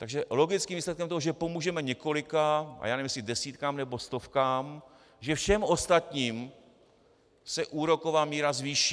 Takže logickým výsledkem toho, že pomůžeme několika, a já nevím, jestli desítkám nebo stovkám, že všem ostatním se úroková míra zvýší.